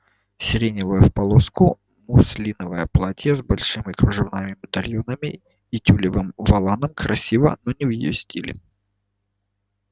сиреневое в полоску муслиновое платье с большими кружевными медальонами и тюлевым воланом красиво но не в её стиле